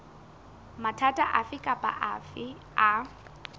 mathata afe kapa afe a